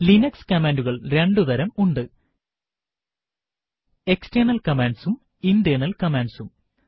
Linux കമാൻഡുകൾ രണ്ടു തരം ഉണ്ട് എക്സ്റ്റെണൽ കമാൻഡ്സും ഇന്റേർണൽ കമാൻഡ്സും